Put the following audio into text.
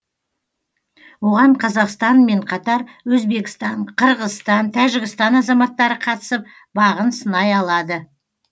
оған қазақстанмен қатар өзбекстан қырғызстан тәжікстан азаматтары қатысып бағын сынай алады